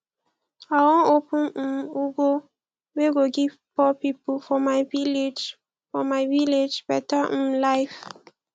i wan open um ngo wey go give poor pipo for my village for my village better um life